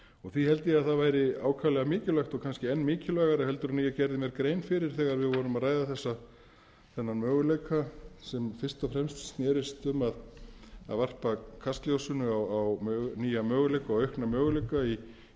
því held ég að það væri ákaflega mikilvægt og kannski enn mikilvægara heldur en ég gerði mér grein fyrir þegar við vorum að ræða þennan möguleika sem fyrst og fremst snerist um að varpa kastljósinu á nýja möguleika og aukna möguleika í